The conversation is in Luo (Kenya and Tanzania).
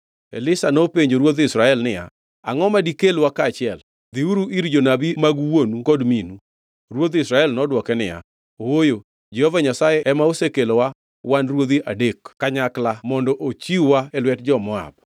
Elisha nopenjo ruodh Israel niya, “Angʼo madikelwa kaachiel?” Dhiuru ir jonabi mag wuonu kod minu. Ruodh Israel nodwoke niya, “Ooyo, Jehova Nyasaye ema osekelowa wan ruodhi adek kanyakla mondo ochiw-wa e lwet jo-Moab.”